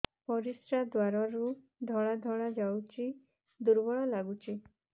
ପରିଶ୍ରା ଦ୍ୱାର ରୁ ଧଳା ଧଳା ଯାଉଚି ଦୁର୍ବଳ ଲାଗୁଚି